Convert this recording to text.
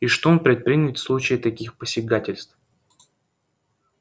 и что он предпримет в случае таких посягательств